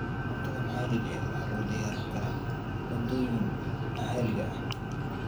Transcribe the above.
Cuntada maxaliga ah waxaa lagu diyaarin karaa maaddooyinka maxaliga ah.